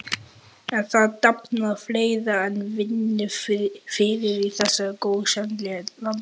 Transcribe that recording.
En það dafnar fleira en vínviður í þessu gósenlandi.